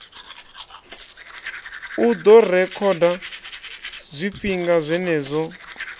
u ḓo rekhoda zwifhinga zwenezwo